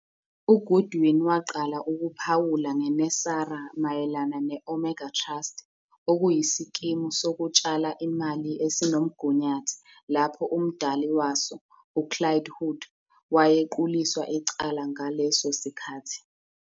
UGoodwin waqala ukuphawula ngeNESARA mayelana ne- Omega Trust, okuyisikimu sokutshala imali esinomgunyathi lapho umdali waso, uClyde Hood, wayequliswa icala ngaleso sikhathi.